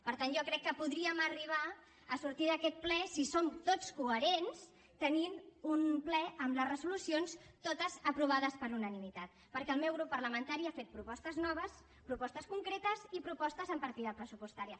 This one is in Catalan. per tant jo crec que podríem arribar a sortir d’aquest ple si som tots coherents tenint un ple amb les resolucions totes aprovades per unanimitat perquè el meu grup parlamentari ha fet propostes noves propostes concretes i propostes amb partida pressupostària